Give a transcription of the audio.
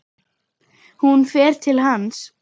Hún fer til hans.